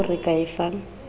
yeo re ka e fang